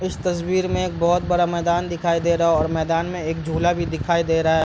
इस तस्वीर में एक बहुत बड़ा मैदान दिखाई दे रहा है और मैदान में एक झूला भी दिखाई दे रहा है।